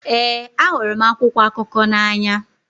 Ee, ahụrụ m akwụkwọ akụkọ n'anya.